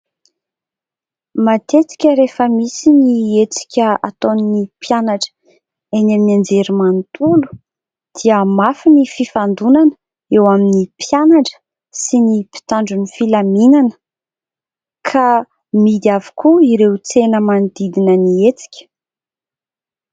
Matetika rehefa misy ny hetsika ataon'ny mpianatra eny amin'ny anjerimanontolo dia mafy ny fifandonana eo amin'ny mpianatra sy ny mpitandro ny filaminana ka mihidy avokoa ireo tsena manodidina ny hetsika.